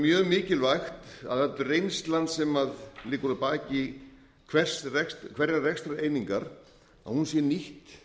mjög mikilvægt að öll reynslan sem liggur að baki hverrar rekstrareiningar sé nýtt